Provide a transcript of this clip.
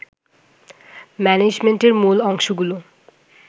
ম্যানেজমেন্টের মূল অংশগুলো